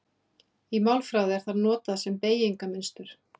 Í málfræði er það notað um beygingarmynstur.